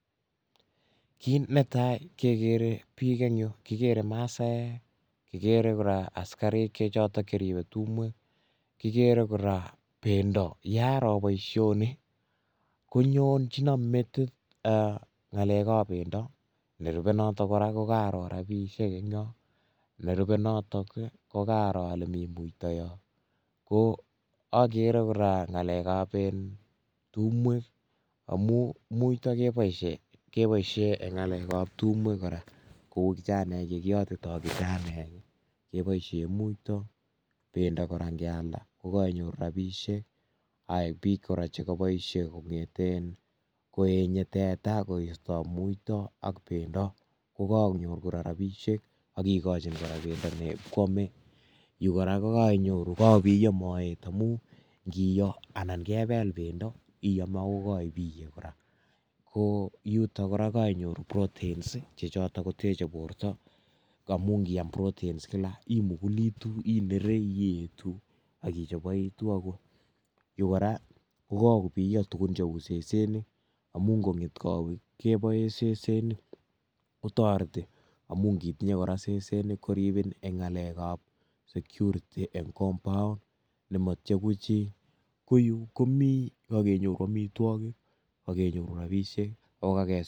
Kit netai kegere biik en yuh, kigere masaek kigere kora asikarik chechoton cheribe tumwek, kigeere kora bendo. Yearoo boishonii konyon chinon metit ngalekab bendoo. Nerube notok kora kokaaro rabisiek en yon. Nerube notok ka kakaaro ale mi muito koagere kora ale ngalekab tumwek, amun muito keboishien en ngalek ab tumwek, kou kijanaek chekiyotitoo keboishien muito. Bendo Kara ingealdaa kenyoru rabisiek, ak biik kora chekoboishie koyenyee teta koistoo muito ak bendoo, kokakonyoor rabisiek ak kikochi bendo nebokwome .Yu korako kabiyoo moet amun ingebeel bendoo iame ak ibiyee.ko nitok kora kokakenyoor protein chebendi koteche bortoo amun indiam proteins imugulituu ,iyeeti ak ichoboitu amun yo kora kokakobiyoo tuguuk cheusesenik. Amun ingonget kowet keboen sesenik kotoretii amun inditinye kora sesenik koribiin ak koribe kampooon. Koenyu komii amitwogiik chekenyorunen rabisiek